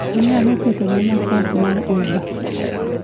inyalo ketona nafas mar uber